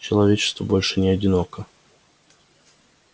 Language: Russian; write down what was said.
человечество больше не одиноко